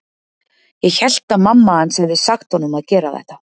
Ég hélt að mamma hans hefði sagt honum að gera þetta.